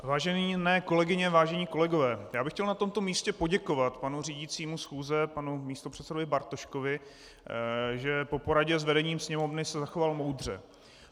Vážené kolegyně, vážení kolegové, já bych chtěl na tomto místě poděkovat panu řídícímu schůze, panu místopředsedovi Bartoškovi, že po poradě s vedením Sněmovny se zachoval moudře.